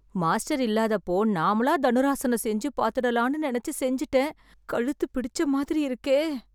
master இல்லாதப்போ நாமளா தனுராசனம் செஞ்சு பாத்துடலாம்னு நெனச்சு செஞ்சுட்டேன்... கழுத்து பிடிச்ச மாதிரி இருக்கே...